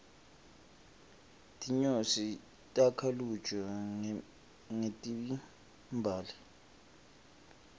tinyosi takha luju ngetimbali